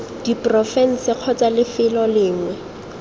diporofense kgotsa c lefelo lengwe